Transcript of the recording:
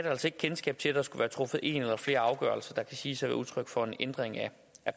altså ikke kendskab til at der skulle være truffet en eller flere afgørelser der kan siges at være udtryk for en ændring af